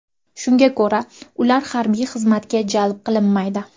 Shunga ko‘ra, ular harbiy xizmatga jalb qilinmaydi.